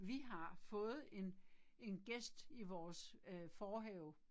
Vi har fået en en gæst i vores æh forhave